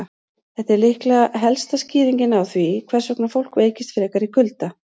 Þetta er líklega helsta skýringin á því hvers vegna fólk veikist frekar í kulda.